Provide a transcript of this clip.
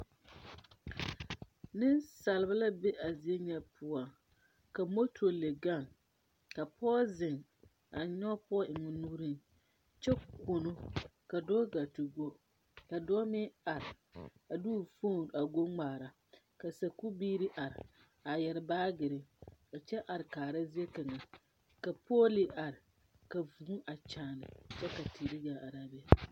Nensaalba la be a zie nyɛ poɔ ,ka moto leŋ gaŋ, ka pɔge zeŋ a nyoŋ pɔge eŋ o nuure kyɛ kono, ka dɔɔ gaa te go, ka dɔɔ meŋ are a de o phone a go ŋmaara ka sakubiiri are a yeere baagyere a kyɛ are kaa zie kaŋa ka pegle are, ka vūū a kyaane kyɛ ka teere gaa arere be.